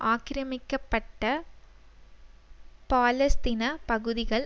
ஆக்கிரமிக்கப்பட்ட பாலஸ்தீன பகுதிகள்